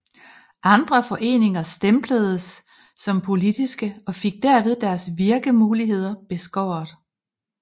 Andre foreninger stempledes som politiske og fik derved deres virkemuligheder beskåret